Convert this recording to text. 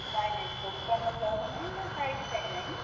ନାଇଁ ନାଇଁ ଦୋକାନ job ନାଇଁ ନା height ପାଇଁ ନାଇଁ।